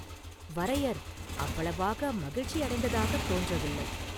வரையர் அவ்வளவாக மகிழ்ச்சியடைந்ததாகத் தோன்றவில்லை.